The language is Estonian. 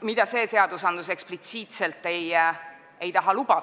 mida see seaduseelnõu eksplitsiitselt lubada ei taha.